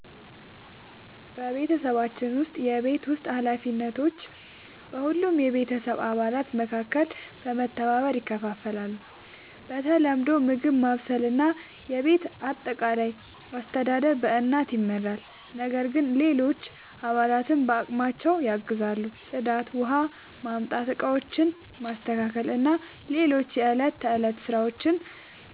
በቤተሰባችን ውስጥ የቤት ውስጥ ኃላፊነቶች በሁሉም የቤተሰብ አባላት መካከል በመተባበር ይከፋፈላሉ። በተለምዶ ምግብ ማብሰል እና የቤት አጠቃላይ አስተዳደር በእናት ይመራል፣ ነገር ግን ሌሎች አባላትም በአቅማቸው ያግዛሉ። ጽዳት፣ ውኃ ማምጣት፣ ዕቃዎችን ማስተካከል እና ሌሎች የዕለት ተዕለት ሥራዎች